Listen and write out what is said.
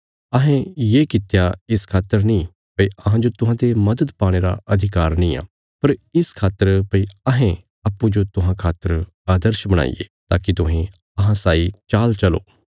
अहें कड़ी मेहणत कित्ती इस खातर नीं भई अहांजो तुहांते मदद पाणे रा अधिकार निआं बल्कि अहें तुहांरे सामणे इक आदर्श रखणा चाँह थे ताकि तुहें तिसरा पालन करी सक्को